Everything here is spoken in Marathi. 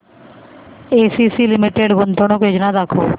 एसीसी लिमिटेड गुंतवणूक योजना दाखव